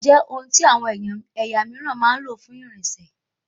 Ọ̀kadà jẹ ohun tí àwọn ẹ̀yà míìràn máa ń lò fún irinṣẹ